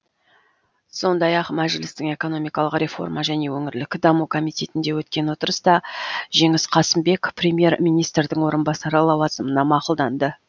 сондай ақ мәжілістің экономикалық реформа және өңірлік даму комитетінде өткен отырыста жеңіс қасымбек премьер министрдің орынбасары лауазымына мақұлданды